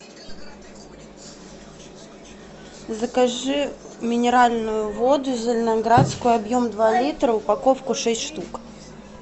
закажи минеральную воду зеленоградскую объем два литра упаковку шесть штук